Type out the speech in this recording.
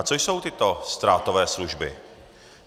A co jsou tyto ztrátové služby?